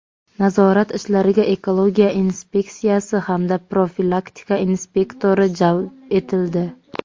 Nazorat ishlariga ekologiya inspeksiyasi hamda profilaktika inspektori jalb etildi.